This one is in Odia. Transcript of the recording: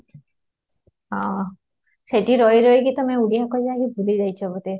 ଆଃ ସେଇଠି ରହି ରହିକି ତମେ ଓଡିଆ କହିବା ହି ଭୁଲି ଯାଇଛ ବୋଧେ